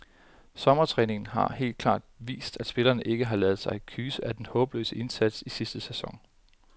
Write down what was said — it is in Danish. Sommertræningen har helt klart vist, at spillerne ikke har ladet sig kyse af den håbløse indsats i sidste sæson.